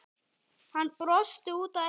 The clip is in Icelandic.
Hann brosti út að eyrum.